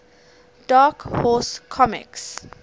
dark horse comics